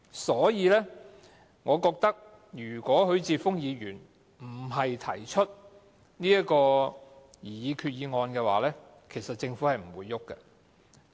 所以，我認為如果不是許智峯議員提出這項擬議決議案，其實政府是不會有行動的。